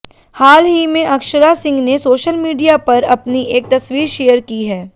हाल ही में अक्षरा सिंह ने सोशल मीडिया पर अपनी एक तस्वीर शेयर की है